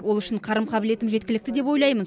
ол үшін қарым қабілетім жеткілікті деп ойлаймын